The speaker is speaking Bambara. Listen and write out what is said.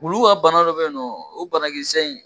Ulu ka bana dɔ bɛ ye nɔ o bana kisɛ in